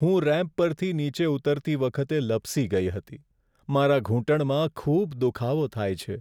હું રેમ્પ પરથી નીચે ઉતરતી વખતે લપસી ગઈ હતી. મારા ઘૂંટણમાં ખૂબ દુખાવો થાય છે.